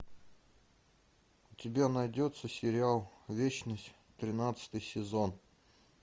у тебя найдется сериал вечность тринадцатый сезон